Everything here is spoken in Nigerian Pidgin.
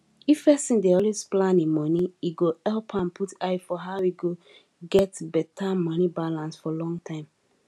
if person dey always plan e moni e go help am put eye for how e go get beta moni balance for long time